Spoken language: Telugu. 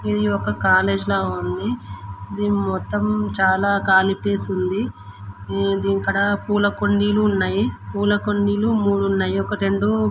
ఇది ఒక కాలేజ్ లా ఉంది. దీనికి మొత్తం చాలా ఖాళీ ప్లేస్ ఉంది. ఇక్కడ పూలకుండీలు ఉన్నాయి. పూలకుండీలు మూడు ఉన్నాయి.ఒకటి రెండు--